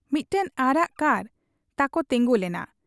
ᱢᱤᱫᱴᱟᱹᱝ ᱟᱨᱟᱜ ᱠᱟᱨ ᱛᱟᱠᱚ ᱛᱤᱸᱜᱩ ᱞᱮᱱᱟ ᱾